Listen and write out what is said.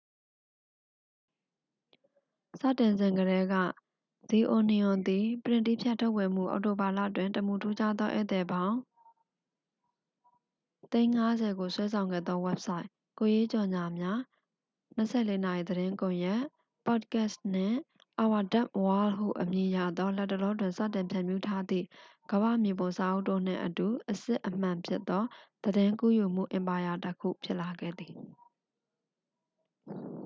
စတင်စဉ်ကတည်းက၊ the onion သည် ပရင့်တည်းဖြတ်ထုတ်ဝေမှု၊ အောက်တိုဘာလတွင် တမူထူးခြားသောဧည့်သည်ပေါင်း ၅,၀၀၀,၀၀၀ ကိုဆွဲဆောင်ခဲ့သောဝဘ်ဆိုက်၊ ကိုယ်ရေးကြော်ငြာများ၊ ၂၄ နာရီသတင်းကွန်ရက်၊ ပေါ့ဒ်ကတ်စ်၊ နှင့် our dumb world ဟုအမည်ရသော လတ်တလောတွင် စတင်ဖြန့်ဖြူးထားသည့် ကမ္ဘာ့မြေပုံစာအုပ်တို့နှင့်အတူ အစစ်အမှန်ဖြစ်သော သတင်းကူးယူမှုအင်ပါယာတစ်ခု ဖြစ်လာခဲ့ပါသည်။